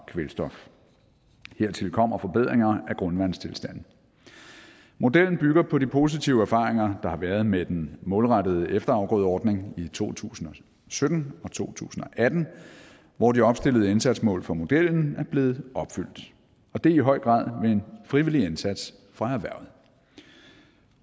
kvælstof hertil kommer forbedringer af grundvandstilstanden modellen bygger på de positive erfaringer der har været med den målrettede efterafgrødeordning i to tusind og sytten og i to tusind og atten hvor de opstillede indsatsmål for modellen er blevet opfyldt og det i høj grad ved en frivillig indsats fra erhvervet